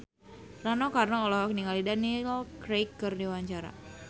Rano Karno olohok ningali Daniel Craig keur diwawancara